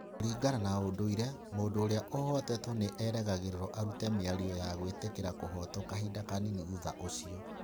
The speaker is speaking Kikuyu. Kũringana na ũndũire, mũndũ ũrĩa ũhootetwo nĩ erĩgagĩrĩrũo arute mĩario ya gwĩtĩkĩra kũhootwo kahinda kanini thutha ũcio.